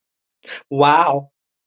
Vá